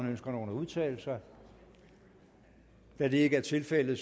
ønsker nogen at udtale sig da det ikke er tilfældet